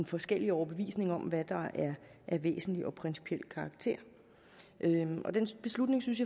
forskellige overbevisninger om hvad der er af væsentlig og principiel karakter og den beslutning synes